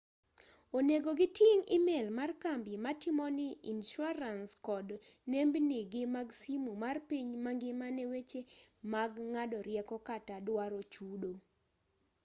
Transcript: onego giting' email mar kambi matimoni insuarans kod nembnigi mag simu mar piny mangima ne weche mag ng'ado rieko kata duaro chudo